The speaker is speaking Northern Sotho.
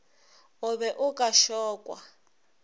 o be o ka šokwa